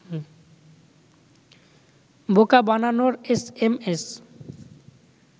বোকা বানানোর এসএমএস